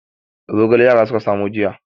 Zogale yara suka samo jiya.